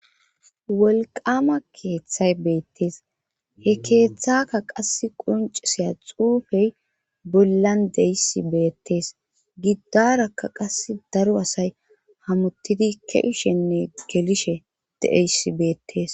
wolqama keeththay beettees he keeththaka qas qonciseya xuufey bollan deyss beettees giddarakka qas daro asay hamuttidi kewushenne gelishe deeyss beettes